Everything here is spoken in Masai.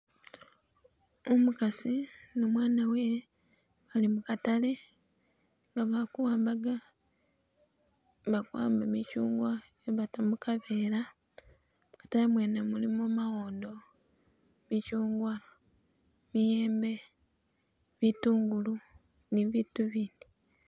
Umukasi ne umwana wewe bali mukatale nga bali kuwambaga bali kuwamba michungwa nga bata mukavera, mukatale mwene mulimo mawondo, michungwa, miyembe, bitungulu ni biitu ibindi